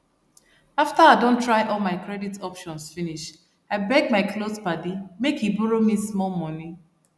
after i don try all my credit options finish i beg my close padi make e borrow me small money